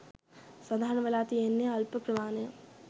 සඳහන් වෙලා තියෙන්නේ අල්ප ප්‍රමාණයක්.